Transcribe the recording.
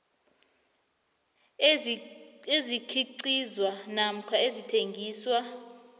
ezikhiqizwa namkha ezithengiswa